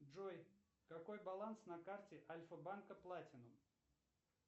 джой какой баланс на карте альфа банка платинум